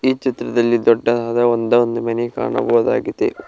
ಈ ಚಿತ್ರದಲ್ಲಿ ದೊಡ್ಡದಾದ ಒಂದ ಒಂದು ಮನಿ ಕಾಣಬೋದಾಗಿದೆ.